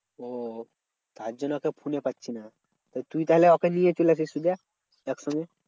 ওহ তার জন্য ওকে ফোনে পাচ্ছি না। তুই তাহলে ওকে নিয়ে চলে আসিস তাহলে একসঙ্গে।